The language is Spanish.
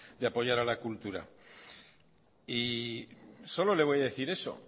de apoyar a la cultura y solo le voy a decir eso